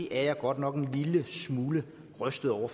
er jeg godt nok en lille smule rystet over